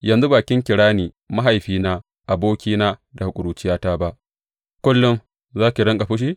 Yanzu ba kin kira ni, Mahaifina, abokina daga ƙuruciyata ba, kullum za ka riƙa fushi?